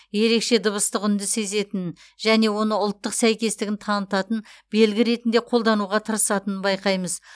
ерекше дыбыстық үнді сезетінін және оны ұлттық сәйкестігін танытатын белгі ретінде қолдануға тырысатынын байқаймыз